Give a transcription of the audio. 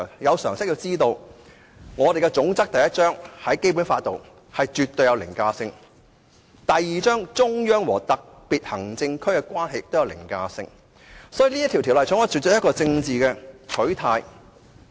有常識的人都知道，《基本法》第一章總則具絕對凌駕性；第二章中央和香港特別行政區的關係也具凌駕性，所以《條例草案》根本有政治取態。